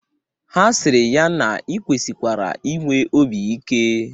Ha sịrị ya na ị kwesịkwara inwe obi ike